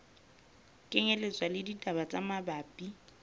kenyelletswa le ditaba tse mabapi